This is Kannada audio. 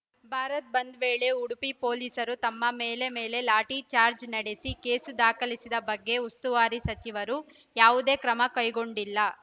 ಭಾರತ್‌ ಬಂದ್‌ ವೇಳೆ ಉಡುಪಿ ಪೊಲೀಸರು ತಮ್ಮ ಮೇಲೆ ಮೇಲೆ ಲಾಠಿ ಚಾಜ್‌ರ್‍ ನಡೆಸಿ ಕೇಸು ದಾಖಲಿಸಿದ ಬಗ್ಗೆ ಉಸ್ತುವಾರಿ ಸಚಿವರು ಯಾವುದೇ ಕ್ರಮ ಕೈಗೊಂಡಿಲ್ಲ